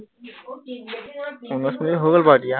উনৈশ মিনিট হৈ গল বাৰু এতিয়া